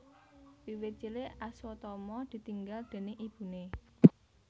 Wiwit cilik Aswatama ditinggal déning ibune